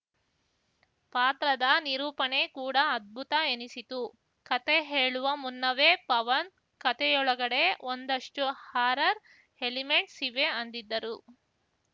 ಪಾತ್ರದ ನಿರೂಪಣೆ ಕೂಡ ಅದ್ಭುತ ಎನಿಸಿತು ಕತೆ ಹೇಳುವ ಮುನ್ನವೇ ಪವನ್‌ ಕತೆಯೊಳಗಡೆ ಒಂದಷ್ಟುಹಾರರ್‌ ಎಲಿಮೆಂಟ್ಸ್‌ ಇವೆ ಅಂದಿದ್ದರು